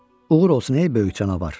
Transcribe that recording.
Uğur olsun, ey böyük canavar.